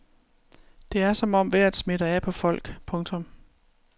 Det er som om vejret smitter af på folk. punktum